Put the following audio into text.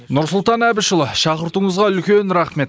нұрсұлтан әбішұлы шақыртуыңызға үлкен рахмет